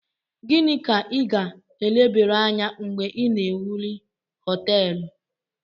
Gini ka i ga elebere Anya mgbe I na ewuli hoteelu?